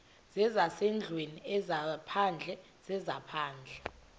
zezasendlwini ezaphandle zezaphandle